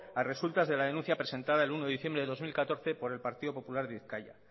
a resultas de la denuncia presentada el uno de diciembre del dos mil catorce por el partido popular de bizkaia